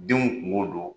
Denw kungo don